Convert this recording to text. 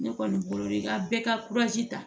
Ne kɔni bolo i ka bɛɛ ka ta